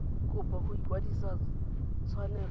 kopo ya go kwadisa tshwanelo